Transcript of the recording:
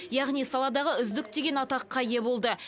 яғни саладағы үздік деген атаққа ие болды